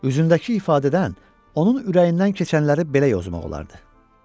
Üzündəki ifadədən onun ürəyindən keçənləri belə yozmaq olardı.